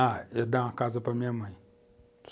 Ah, eu dar uma casa para minha mãe.